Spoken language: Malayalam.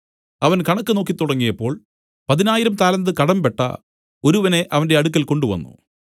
അവൻ കണക്ക് നോക്കിത്തുടങ്ങിയപ്പോൾ പതിനായിരം താലന്ത് കടമ്പെട്ട ഒരുവനെ അവന്റെ അടുക്കൽ കൊണ്ടുവന്നു